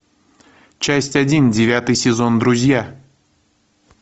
часть один девятый сезон друзья